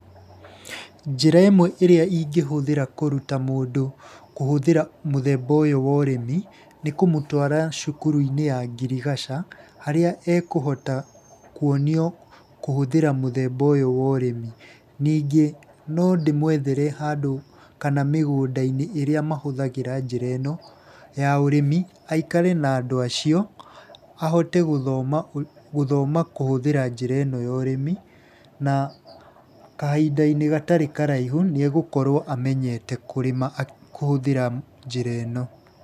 Njĩra ĩmwe ĩrĩa ingĩhũthĩra kũruta mũndũ kũhũthĩra mũthemba ũyũ wa ũrĩmi, nĩ kũmũtwara cukuru-inĩ ya ngirigaca, harĩa ekũhota kuonio kũhũthĩra mũthemba ũyũ wa ũrĩmi. Nĩngĩ no ndĩmwethere handũ, kana mĩgũnda-inĩ ĩrĩa mahũthagĩra njĩra ĩno ya ũrĩmi aikare na andũ acio, ahote gũthoma kũhũthira njĩra ĩno ya ũrĩmi na kahinda-inĩ gatarĩ karaihu nĩ egũkorwo amenyete kũrĩma kũhũthĩra njĩra ĩno.